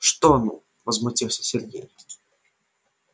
что ну возмутился сергей